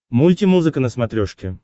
мульти музыка на смотрешке